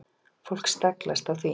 Fólk staglast á því.